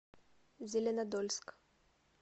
зеленодольск